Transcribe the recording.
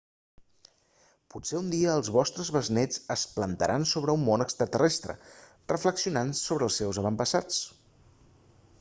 potser un dia els vostres besnets es plantaran sobre un món extraterrestre reflexionant sobre els seus avantpassats